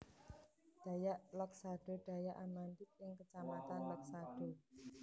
Dayak Loksado Dayak Amandit ing kecamatan Loksado